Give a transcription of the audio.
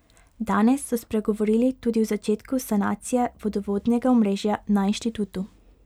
Danes so spregovorili tudi o začetku sanacije vodovodnega omrežja na inštitutu.